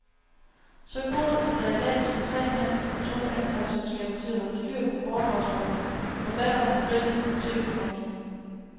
Så god, at der i dag skal tre mand og to anpartsselskaber til at holde styr på foredragsholderen, forfatteren, modellen og TVberømtheden.